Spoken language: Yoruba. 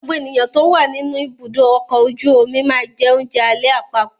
Gbogbo ènìyàn tó wà nínú ibùdó ọkọ̀ ojú omi máa jẹ oúnjẹ alẹ́ àpapọ̀.